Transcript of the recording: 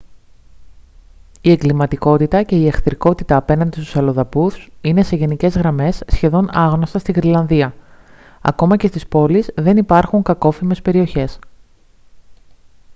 η εγκληματικότητα και η εχθρικότητα απέναντι στους αλλοδαπούς είναι σε γενικές γραμμές σχεδόν άγνωστα στη γροιλανδία. ακόμα και στις πόλεις δεν υπάρχουν «κακόφημες περιοχές»